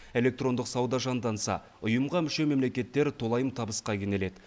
электрондық сауда жанданса ұйымға мүше мемлекеттер толайым табысқа кенеледі